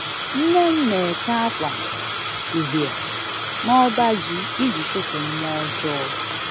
Nne m na-eke akwa uhie n'ọbaji iji chụpụ mmụọ ọjọọ